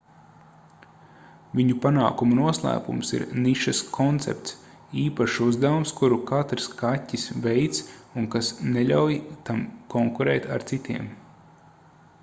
viņu panākumu noslēpums ir nišas koncepts īpašs uzdevums kuru katrs kaķis veic un kas neļauj tam konkurēt ar citiem